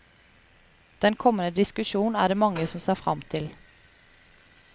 Den kommende diskusjon er det mange som ser frem til.